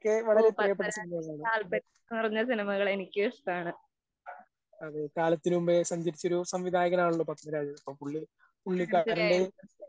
ഓ, പത്മരാജന്‍ എന്ന് പറഞ്ഞ സിനിമകള്‍ എനിക്കും ഇഷ്ടാണ്.